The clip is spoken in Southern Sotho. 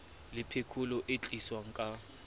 le phekolo e tliswang ka